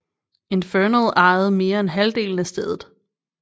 Infernal ejede mere end halvdelen af stedet